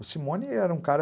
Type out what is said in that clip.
O Simone era um cara...